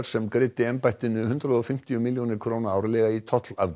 sem greiddi embættinu hundrað og fimmtíu milljónir árlega í